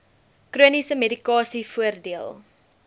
chroniese medikasie voordeel